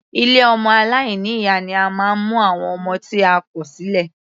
Ilé ọmọ aláìní ìyá ni a máa ń mu àwọn ọmọ tí a kò sílẹ̀.